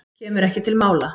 Kemur ekki til mála.